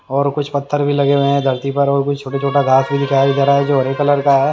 और कुछ पत्थर भी लगे हुए हैं धरती पर और कुछ छोटा-छोटा घास भी दिखाया जा रहा है जो हरे कलर का है।